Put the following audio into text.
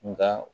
Nka